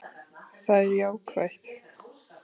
Það er jákvætt